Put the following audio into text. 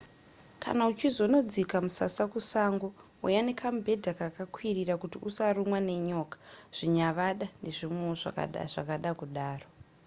kana uchizonodzika musasa kusango huya nekamubhedha kakakwirira kuti usarumwa nenyoka zvinyavada nezvimwewo zvakada kudaro